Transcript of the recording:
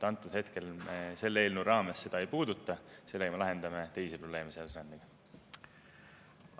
Antud hetkel selle eelnõu raames me seda ei puuduta, sellega me lahendame teisi probleeme, rändega seotud.